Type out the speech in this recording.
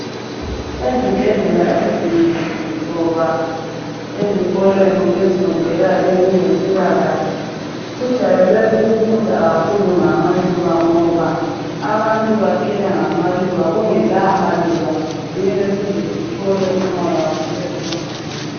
Ezibhedlela ezinengi loba ezikolweni ezifundela ezempilakahle, kujwayele ukufundwa kakhulu ngamaluba ngoba abantu baphila ngamaluba kungela maluba ngeke size sithole umoya wokuphefumula.